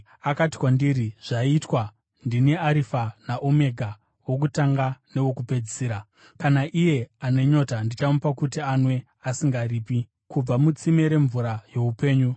Akati kwandiri, “Zvaitwa. Ndini Arifa naOmega, wokutanga newokupedzisira. Kuna iye ane nyota ndichamupa kuti anwe, asingaripi, kubva mutsime remvura youpenyu.